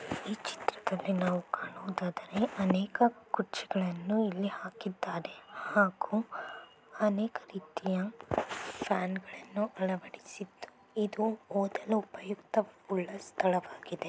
ಈ ಚಿತ್ರದಲ್ಲಿ ನಾವು ಕಾಣುವುದಾದರೆ ಅನೇಕ ಕುರ್ಚಿಗಳನ್ನುಇಲ್ಲಿ ಹಾಕಿದ್ದಾರೆ ಹಾಗು ಅನೇಕ ರೀತಿಯ ಫ್ಯಾನ್ಗಳನ್ನು ಅಳವಡಿಸ-- ಇದು ಓದಲು ಉಪಯುಕ್ತ ಸ್ಥಳವಾಗಿದೆ.